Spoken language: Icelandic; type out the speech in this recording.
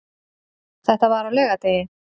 Þetta var á laugardegi.